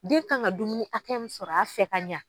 Den kan ka dumuni hakɛ min sɔrɔ a fɛ ka ɲa.